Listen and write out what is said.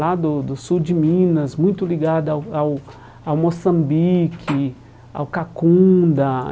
Lá do do sul de Minas, muito ligada ao ao Moçambique, ao Cacunda.